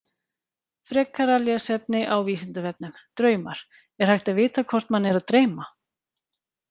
Frekara lesefni á Vísindavefnum Draumar Er hægt að vita hvort mann er að dreyma?